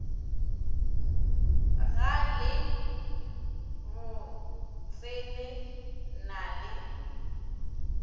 ga le botsele na le